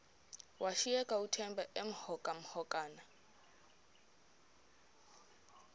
washiyeka uthemba emhokamhokana